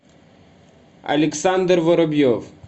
александр воробьев